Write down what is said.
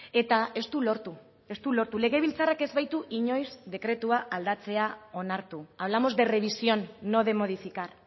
eta ez du lortu ez du lortu legebiltzarrak ez baitu inoiz dekretua aldatzea onartu hablamos de revisión no de modificar